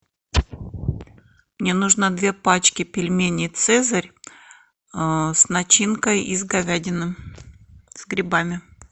мне нужно две пачки пельменей цезарь с начинкой из говядины с грибами